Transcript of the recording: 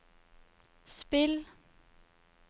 spill